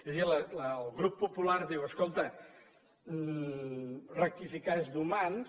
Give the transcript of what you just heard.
és a dir el grup popular diu escolta rectificar és d’humans